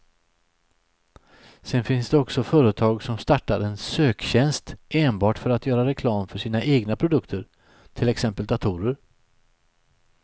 Sedan finns det också företag som startar en söktjänst enbart för att göra reklam för sina egna produkter, till exempel datorer.